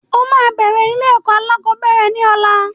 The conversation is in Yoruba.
O máa bẹ̀rẹ̀ ilé-ẹ̀kọ́ alákọ̀ọ́bẹ̀rẹ̀ ní ọ̀la.